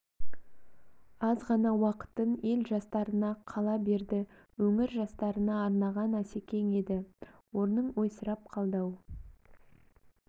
аз ғана уақытын ел жастарына қала берді өңір жастарына арнаған асекең еді орның ойсырап қалды-ау